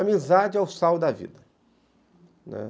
Amizade é o sal da vida, né.